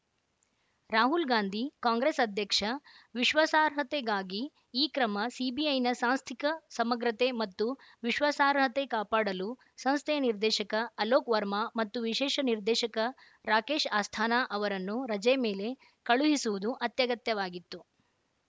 ರಾಹುಲ್‌ ಗಾಂಧಿ ಕಾಂಗ್ರೆಸ್‌ ಅಧ್ಯಕ್ಷ ವಿಶ್ವಾಸಾರ್ಹತೆಗಾಗಿ ಈ ಕ್ರಮ ಸಿಬಿಐನ ಸಾಂಸ್ಥಿಕ ಸಮಗ್ರತೆ ಮತ್ತು ವಿಶ್ವಾಸಾರ್ಹತೆ ಕಾಪಾಡಲು ಸಂಸ್ಥೆಯ ನಿರ್ದೇಶಕ ಅಲೋಕ್‌ ವರ್ಮಾ ಮತ್ತು ವಿಶೇಷ ನಿರ್ದೇಶಕ ರಾಕೇಶ್‌ ಅಸ್ಥಾನಾ ಅವರನ್ನು ರಜೆ ಮೇಲೆ ಕಳುಹಿಸುವುದು ಅತ್ಯಗತ್ಯವಾಗಿತ್ತು